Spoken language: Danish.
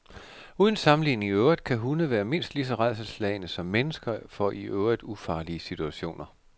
Uden sammenligning i øvrigt kan hunde være mindst lige så rædselsslagne som mennesker for i øvrigt ufarlige situationer.